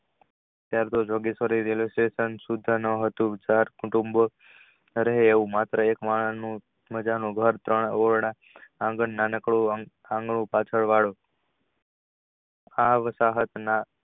Railway station હતું કરે એવું માત્ર એક માણસ માજા નું ઘર ત્રણ ઓરડા આગનું નાનકડું પાછળ વાડો આવતા હતા.